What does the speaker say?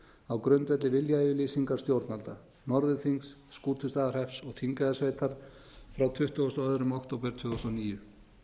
á grundvelli viljayfirlýsingar stjórnvalda norðurþings skútustaðahrepps og þingeyjarsveitar frá tuttugasta og önnur október tvö þúsund og níu markmiðið